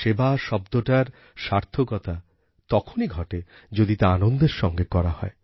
সেবা শব্দটার সার্থকতা তখনই ঘটে যদি তা আনন্দের সঙ্গে করা হয়